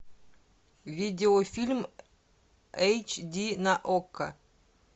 видеофильм эйч ди на окко